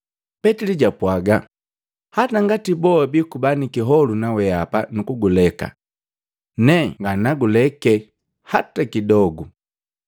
Petili japwaga, “Hataa ngati boa bikuba ni kiholu nawehapa nukuguleka, ne nganaguleke hata kidogu!”